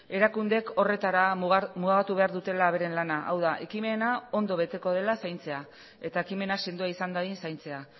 erakundeek horretara mugatu behar dutela beren lana hau da ekimena ondo beteko dela zaintzea eta ekimena sendoa izan dadin zaintzea